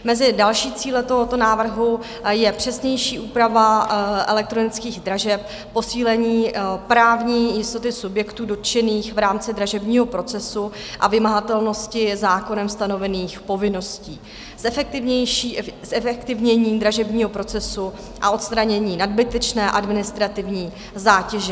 Mezi dalšími cíli tohoto návrhu je přesnější úprava elektronických dražeb, posílení právní jistoty subjektů dotčených v rámci dražebního procesu a vymahatelnosti zákonem stanovených povinností, zefektivnění dražebního procesu a odstranění nadbytečné administrativní zátěže.